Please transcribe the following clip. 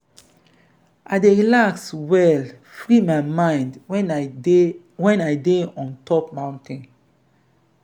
i dey relax well free my mind wen i dey wen i dey on top mountain.